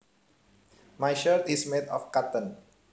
My shirt is made of cotton